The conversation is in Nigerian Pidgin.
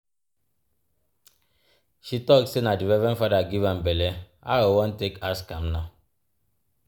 She talk sey na di Reverend Fada give am belle, how we wan take ask am now.